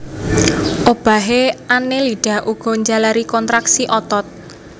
Obahé Annelida uga njalari kontraksi otot